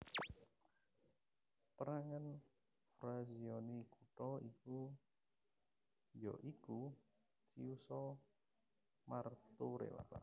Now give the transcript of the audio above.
Pérangan frazioni kutha iki ya iku Chiusa Martorella